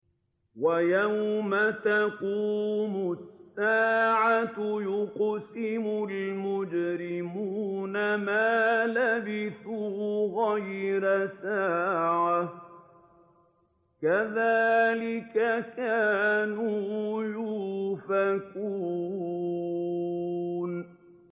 وَيَوْمَ تَقُومُ السَّاعَةُ يُقْسِمُ الْمُجْرِمُونَ مَا لَبِثُوا غَيْرَ سَاعَةٍ ۚ كَذَٰلِكَ كَانُوا يُؤْفَكُونَ